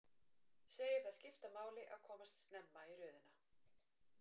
Segir það skipta máli að komast snemma í röðina.